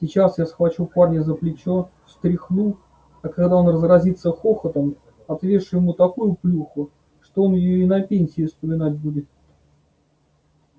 сейчас я схвачу парня за плечо встряхну а когда он разразится хохотом отвешу ему такую плюху что он её и на пенсии вспоминать будет